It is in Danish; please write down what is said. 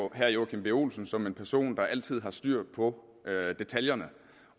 jo herre joachim b olsen som en person der altid har styr på detaljerne